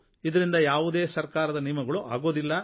ಇದರಿಂದ ಯಾವುದೇ ಸರಕಾರ ನಿಯಮಗಳು ಆಗುವುದಿಲ್ಲ